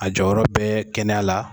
A jɔyɔrɔ bɛ kɛnɛya la